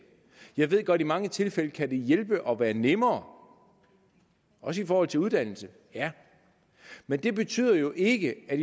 jeg ved godt i mange tilfælde kan hjælpe og være nemmere også i forhold til uddannelse ja men det betyder jo ikke at